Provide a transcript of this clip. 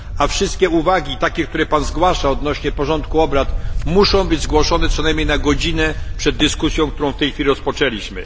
Wszystkie uwagi, jakie Pan zgłasza odnośnie do porządku obrad, muszą być zgłoszone co najmniej na godzinę przed dyskusją, którą w tej chwili rozpoczęliśmy.